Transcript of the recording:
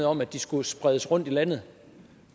om at de skulle spredes rundt i landet